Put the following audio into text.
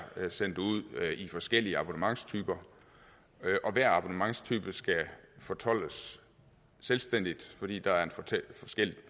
sendt ud i forskellige abonnementstyper og hver abonnementstype skal fortoldes selvstændigt fordi der er forskellige